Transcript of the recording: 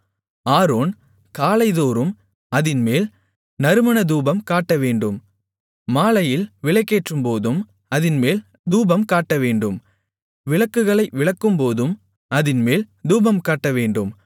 Aaron காலைதோறும் அதின்மேல் நறுமண தூபம்காட்டவேண்டும் மாலையில் விளக்கேற்றும்போதும் அதின்மேல் தூபம்காட்டவேண்டும் விளக்குகளை விளக்கும்போதும் அதின்மேல் தூபம்காட்டவேண்டும்